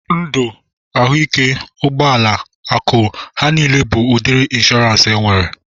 Ndụ, ahụike, ụgbọala, akụ, ha niile bụ udiri ịnshọransị enwere